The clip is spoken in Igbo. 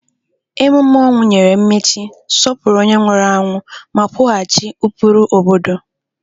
Emume ọnwụ nyere mmechi, sọpụrụ onye nwụrụ anwụ, ma kwughachi ụkpụrụ obodo.